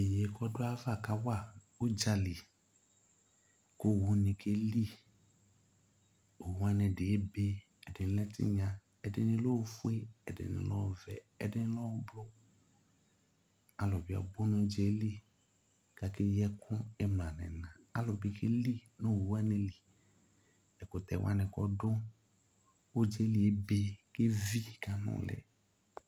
Iyeye k'ɔdu ayava k'awa udzali ku owu ni keli, owuwa ni ɛdi ebe k'ɛdi lɛ tinya ,ɛdini lɛ ofue, ɛdini lɛ ɔvɛ, k'ɛdini lɛ ùblù Alu bi abú nu udzaɛli k'aka eyi ɛku imla n'ina, alu bi k'eli nu owuwa nili, ɛkutɛwa ni k' ɔdu udzaɛli ebe k'eví k'anulĩ